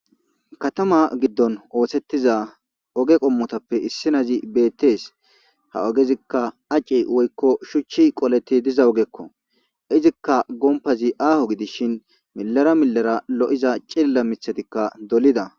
katama giddon oosettiza oge qommotappe issinazi beettees ha ogezikka aci woykko shuchchi qoleti diza ogekko izikka gompazi aaho gidishin milara milara lo7iza cilla mithatikka dolida